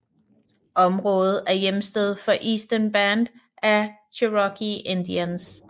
Området er hjemsted for Eastern Band of Cherokee Indians